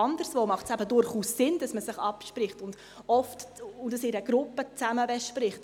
Anderswo macht es eben durchaus Sinn, dass man sich abspricht und etwas in einer Gruppe zusammen bespricht.